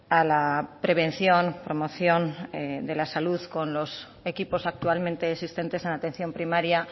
a la prevención promoción de la salud con los equipos actualmente existentes en atención primaria